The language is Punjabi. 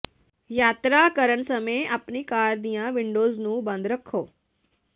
ਯਾਤਰਾ ਕਰਨ ਸਮੇਂ ਆਪਣੀ ਕਾਰ ਦੀਆਂ ਵਿੰਡੋਜ਼ ਨੂੰ ਬੰਦ ਰੱਖੋ